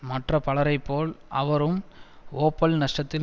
மற்ற பலரைப்போல் அவரும் ஓப்பல் நஷ்டத்தில்